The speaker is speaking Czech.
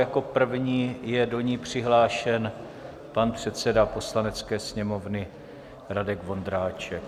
Jako první je do ní přihlášen pan předseda Poslanecké sněmovny Radek Vondráček.